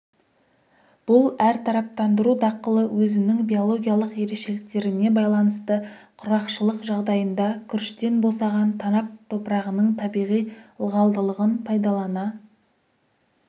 бұл әртараптандыру дақылы өзінің биологиялық ерекшеліктеріне байланысты құрғақшылық жағдайында күріштен босаған танап топырағының табиғи ылғалдылығын пайдалана